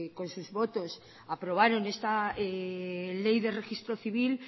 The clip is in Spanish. con sus votos aprobaron esta ley de registro civil